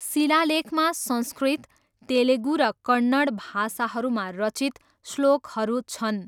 शिलालेखमा संस्कृत, तेलुगु र कन्नड भाषाहरूमा रचित श्लोकहरू छन्।